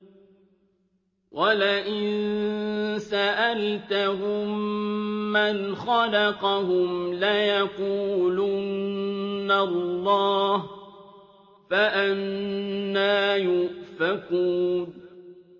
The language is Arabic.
وَلَئِن سَأَلْتَهُم مَّنْ خَلَقَهُمْ لَيَقُولُنَّ اللَّهُ ۖ فَأَنَّىٰ يُؤْفَكُونَ